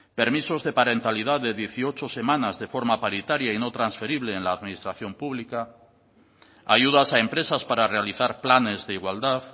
permisos de parentalidad de dieciocho semanas de forma paritaria y no transferible en la administración pública ayudas a empresas para realizar planes de igualdad